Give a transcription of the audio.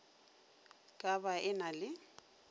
ka ba e na le